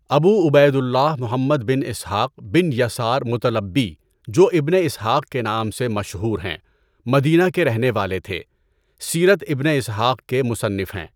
ابو Ubaidullah Muhammad bin Ishaq bin Yasar Muttalibi جو ابنِ Ishaq کے نام سے مشہور ہیں مدینہ کے رہنے والے تھے، سیرت ابنِ اسحاق کے مصنف ہیں۔